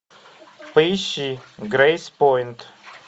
поищи грейспойнт